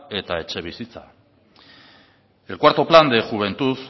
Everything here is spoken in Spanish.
eta etxebizitza el cuarto plan de juventud